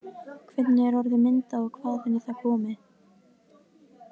Hvernig er orðið myndað og hvaðan er það komið?